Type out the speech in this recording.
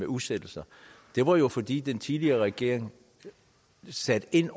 udsættelser det var jo fordi den tidligere regering satte ind